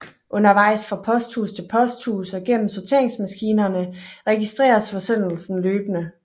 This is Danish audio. Undervejs fra posthus til posthus og gennem sorteringsmaskinerne registreres forsendelsen løbende